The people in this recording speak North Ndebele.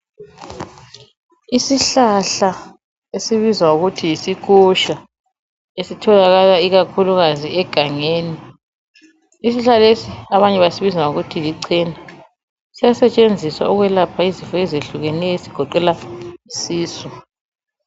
Isihlahla esibizwa ngokuthi yisikusha esitholakala ikakhulukazi egangeni. Isihlahla lesi abanye basibiza ngokuthi lichena. Siyasetshenziswa ukwelapha izinto eziyehlukeneyo ezigoqela isisu.